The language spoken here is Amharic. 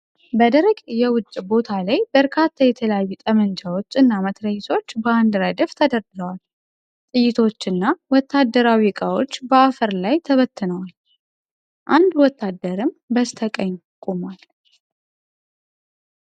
በደረቅ የውጪ ቦታ ላይ በርካታ የተለያዩ ጠመንጃዎች እና መትረየሶች በአንድ ረድፍ ተደርድረዋል። ጥይቶችና ወታደራዊ እቃዎች በአፈር ላይ ተበትነዋል፣ አንድ ወታደርም በስተቀኝ ቆሟል።